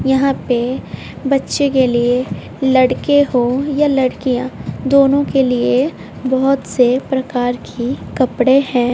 यहां पे बच्चे के लिए लड़के हो या लड़कियां दोनों के लिए बहोत से प्रकार की कपड़े है।